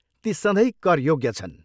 ती सधैँ कर योग्य छन्।